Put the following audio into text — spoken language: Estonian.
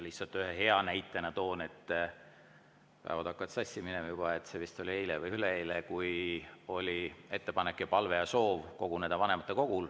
Lihtsalt ühe hea näitena toon, see oli vist eile või üleeile – päevad hakkavad sassi minema –, kui vanematekogul oli ettepanek, palve ja soov koguneda.